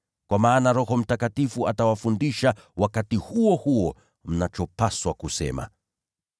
Kwa maana Roho Mtakatifu atawafundisha wakati huo huo mnachopaswa kusema.”